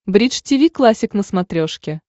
бридж тиви классик на смотрешке